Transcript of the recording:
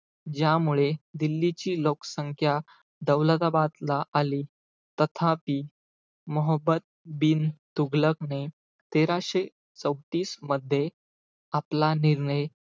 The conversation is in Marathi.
ज्यामुळे दिल्लीची लोकसंख्या दौलताबादला आली. तथापि, मोहम्मद बिन तूघलकने, तेराशे चौतीस मध्ये आपला निर्णय,